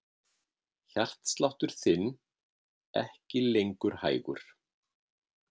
Hjartsláttur þinn ekki lengur hægur.